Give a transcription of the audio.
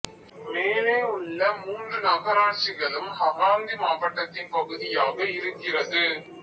மேலே உள்ள மூன்று நகராட்சிகளும் ஹகான்தி மாவட்டத்தின் பகுதியாக இருக்கிறது